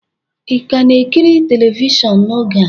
Ị ka na-ekiri telivishọn n'oge a?